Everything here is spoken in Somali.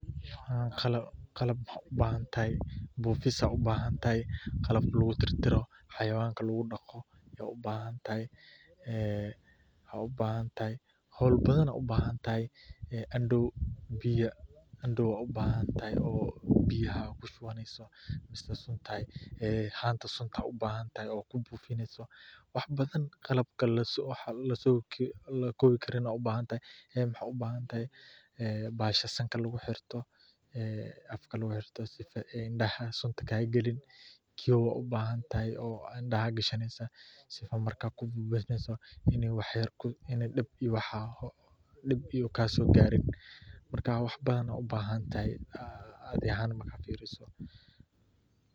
Qalab waxaad ubahan tahay, buufis, qalab xawayanka lagu daqo, ndoo biyaha aad kushubaneyso, haanta sunta, waxaad ubahan tahay bahasha afka lagu xirto, si uu dib kusoo gaarin.